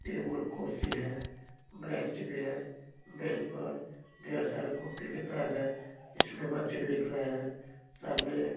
Table कुर्सी है bench भी है बेंच पर ढेर सारे कॉपी किताब है इसमें बच्चे लिख रहे हैं सामने।